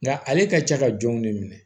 Nga ale ka ca ka jɔnw de minɛ